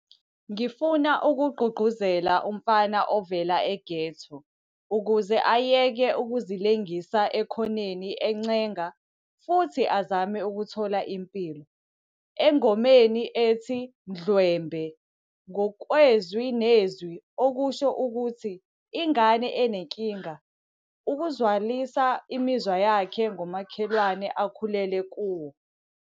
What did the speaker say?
"Ngifuna ukugqugquzela umfana ovela eghetto ukuze ayeke ukuzilengisa ekhoneni encenga futhi azame ukuthola impilo." Engomeni ethi "Mdlwembe", ngokwezwi nezwi okusho ukuthi ingane enenkinga, uzwakalisa imizwa yakhe ngomakhelwane akhulele kuwo.